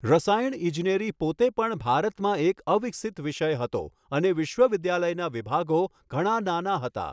રસાયણ ઇજનેરી પોતે પણ ભારતમાં એક અવિકસિત વિષય હતો, અને વિશ્વવિદ્યાલયના વિભાગો ઘણા નાના હતા.